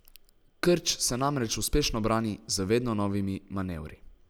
Krč se namreč uspešno brani z vedno novimi manevri.